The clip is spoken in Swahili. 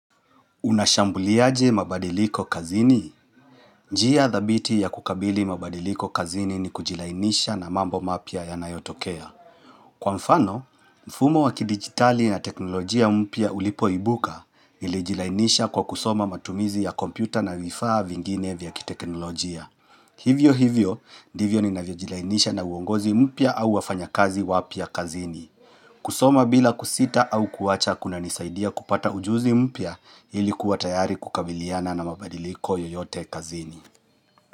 Unashambuliaje mabadiliko kazini? Njia dhabiti ya kukabili mabadiliko kazini ni kujilainisha na mambo mapya yanayotokea. Kwa mfano, mfumo wakidigitali na teknolojia mpya ulipoibuka nilijilainisha kwa kusoma matumizi ya kompyuta na vifaa vingine vya kiteknolojia. Hivyo hivyo, ndivyo ninavyojilainisha na uongozi mpya au wafanyakazi wapya kazini. Kusoma bila kusita au kuwacha kuna nisaidia kupata ujuzi mpya ili kuwa tayari kukabiliana na mabadiliko yoyote kazini.